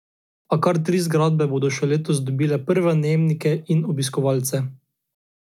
A kar tri zgradbe bodo še letos dobile prve najemnike in obiskovalce.